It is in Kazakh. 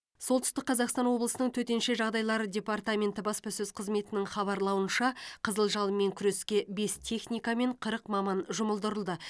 солтүстік қазақстан облысының төтенше жағдайлары департаменті баспасөз қызметінің хабарлауынша қызыл жалынмен күреске бес техника мен қырық маман жұмылдырылды